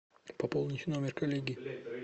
пополнить номер коллеги